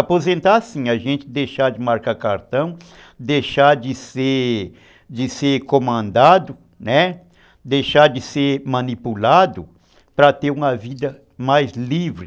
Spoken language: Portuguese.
Aposentar sim, a gente deixar de marcar cartão, deixar de ser de ser comandado, né, deixar de ser manipulado para ter uma vida mais livre.